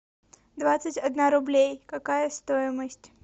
двадцать одна рублей какая стоимость